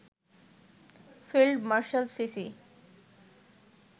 field marshal CC